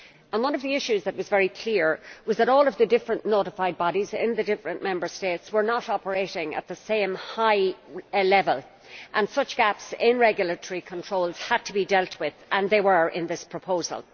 One of the issues which was very clear was that all the different notified bodies in the different Member States were not operating at the same high level and that such gaps in regulatory controls had to be dealt with and they were in this proposal.